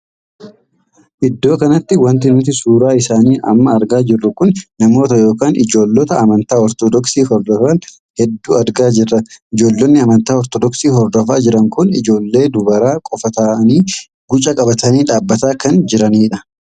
Iddoo kanatti wanti nuti suuraa isaanii amma argaa jirru kun namoota ykn ijoollota amantaa ortodoksii hordofan hedduu argaa jirra. ijoollonni amantaa ortodoksii hordofaa jiran kun ijoollee dubaraa qofaa taa'anii gucaa qabatanii dhaabbataa kan jiraniidha.